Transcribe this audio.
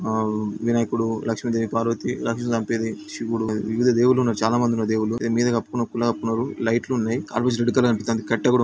ఆ వినాయకుడు లక్ష్మీదేవి పార్వతి శివుడు వివిధ దేవుళ్లున్నారు చాలా మంది ఉన్నారు దేవుళ్ళు దేని మీద కప్పారు గులాబీ కలర్ లైట్లున్నాయి ఆల్మోస్ట్ రెడ్ కలర్ అనిపిస్తది కట్టే కూడా --